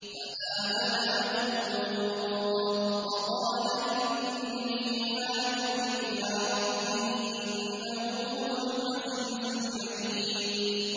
۞ فَآمَنَ لَهُ لُوطٌ ۘ وَقَالَ إِنِّي مُهَاجِرٌ إِلَىٰ رَبِّي ۖ إِنَّهُ هُوَ الْعَزِيزُ الْحَكِيمُ